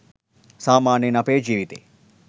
සාමාන්‍යයෙන් අපේ ජීවිතේ